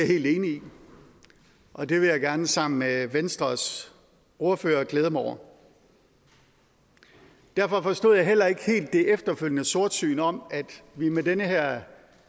helt enig i og det vil jeg gerne sammen med venstres ordfører glæde mig over derfor forstod jeg heller ikke helt det efterfølgende sortsyn om at vi med den her